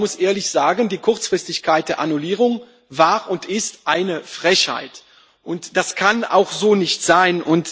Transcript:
Man muss ehrlich sagen Die Kurzfristigkeit der Annullierung war und ist eine Frechheit, und das kann auch so nicht sein.